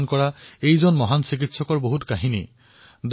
তেওঁৰ ওচৰলৈ অহা প্ৰৌঢ় ৰোগীক তেওঁ অহাযোৱাৰ খৰচ পৰ্যন্ত প্ৰদান কৰিছিল